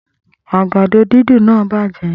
Agbado didùn naa bajẹ